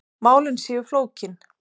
Málin séu flókin.